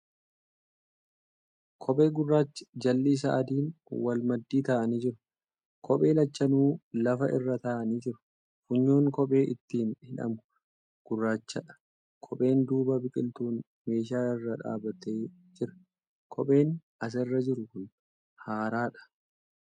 Kophee gurraachi jalli isaa adiin wal maddii taa'anii jiru. Kophee lachanuu lafa irra taa'anii jiru. Funyoon kopheen ittiin hidhamu gurraachadha. Kophee duuba biqiltuun meeshaa irra dhaabbatee jira .Kopheen as irra jiru kun haaraadha.